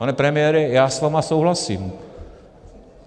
- Pane premiére, já s vámi souhlasím.